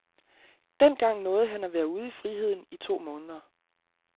Dengang nåede han at være ude i friheden i to måneder.